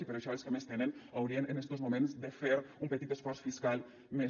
i per això els que més tenen haurien en estos moments de fer un petit esforç fiscal més